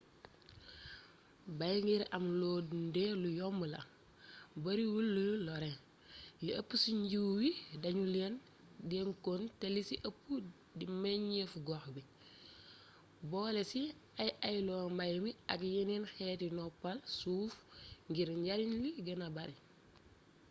bay ngir am loo dundee lu yomb la bariwul luy lore li ëpp ci jiwwu wi dañu leen dencoon te li ci ëpp di meññeefu gox bi boole ci ay-ayloo mbay mi ak yeneen xeeti noppal suuf ngir njariñ li gëna bari